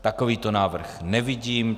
Takovýto návrh nevidím.